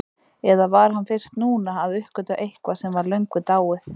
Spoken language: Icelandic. Eða var hann fyrst núna að uppgötva eitthvað sem var löngu dáið?